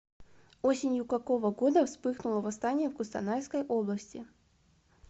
осенью какого года вспыхнуло восстание в кустанайской области